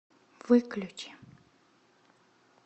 выключи